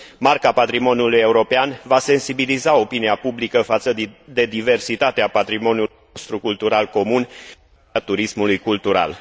Marca patrimoniului european va sensibiliza opinia publică față de diversitatea patrimoniului nostru cultural comun și a turismului cultural.